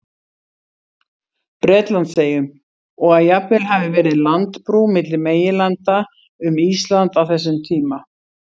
Bretlandseyjum, og að jafnvel hafi verið landbrú milli meginlanda um Ísland á þessum tíma.